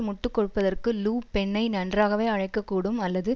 முட்டு கொடுப்பதற்கு லு பென்னை நன்றாகவே அழைக்கக்கூடும் அல்லது